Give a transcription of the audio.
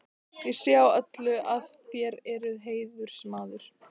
Ég sé á öllu, að þér eruð heiðursmaður.